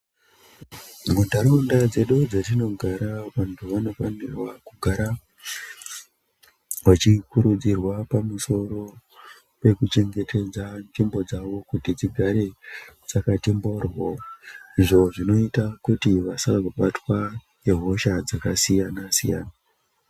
Muntaraunda dzedu dzatinogara vantu vanofanira kugara vachikurudzirwa pamusoro pekuchengetedza nzvimbo dzavo kuti dzigare dzakati mboryo izvo zvinoita kuti vasazobatwa nehosha dzakasiyana siyana.